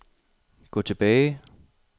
gå tilbage